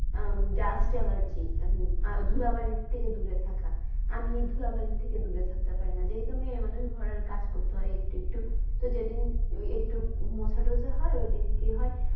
আম dust allergy হম ধূলাবালির থেকে দূরে থাকা। আমি ধূলাবালির থেকে দূরে থাকতে পারিনা যেহেতু মেয়ে মানুষ ঘরের কাজ করতে হয় একটু একটু। যেদিন একটু মোছা টোচা হয় সেদিন কী হয়।